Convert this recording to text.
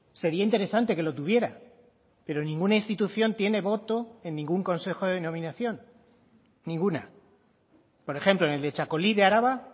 sería interesante que lo tuviera pero ninguna institución tiene voto en ningún consejo de denominación ninguna por ejemplo en el de txakoli de araba